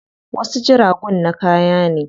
Wasu jiragun na kaya ne.